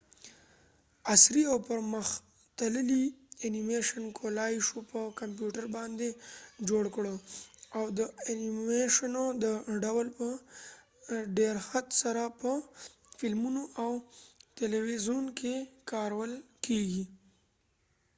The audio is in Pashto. عصری او پر مختللی انیمیشن کولای شو په کمپیوټر باندي جوړ کړو او د انیمیشنو دا ډول په ډیرښت سره په فلمونو او تلويزیون کې کارول کېږی